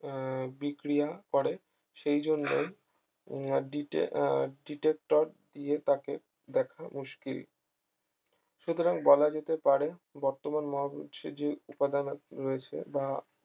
আহ বিক্রিয়া করে সেই জন্যই দিতে আহ detector দিয়ে তাকে দেখা মুশকিল সুতরাং বলা যেতে পারে বর্তমান মহাবিশ্বের যে উপাদান রয়েছে বা